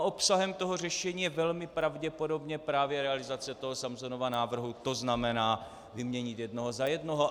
A obsahem toho řešení je velmi pravděpodobně právě realizace toho Samsomova návrhu, to znamená vyměnit jednoho za jednoho.